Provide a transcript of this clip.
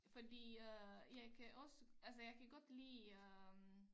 Fordi øh jeg kan også altså jeg kan godt lide øh